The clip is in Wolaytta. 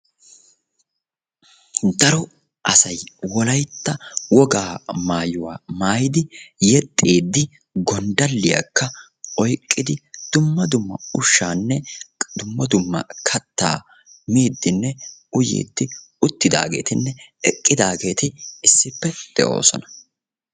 Daro asay wolaytta wogaa maayuwa maayidi yexxiiddi gonddalliyakka oyqqidi dumma dumma ushshaanne dumma dumma kattaa miiddinne uyiiddi uttidaageetinne eqqidaageeti issippe de'oosona.